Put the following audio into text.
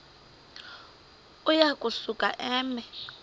uya kusuka eme